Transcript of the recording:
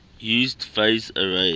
use phased array